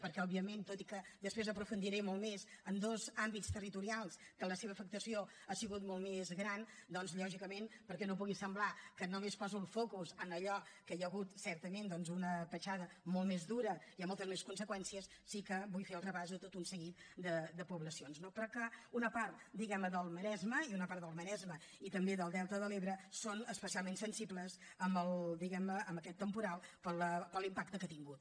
perquè òbviament tot i que després aprofundiré molt més en dos àmbits territorials que la seva afectació ha sigut molt més gran doncs lògicament perquè no pugui semblar que només poso el focus en allò que hi ha hagut certament doncs una petjada molt més dura i amb moltes més conseqüències sí que vull fer el repàs de tot un seguit de poblacions no però que una part diguem ne del maresme i una part del maresme i també del delta de l’ebre són especialment sensibles diguem ne amb aquest temporal per l’impacte que ha tingut